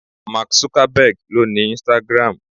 Mark Zuckerberg owns Instagram.